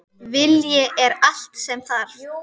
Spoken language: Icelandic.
Vilji er allt sem þarf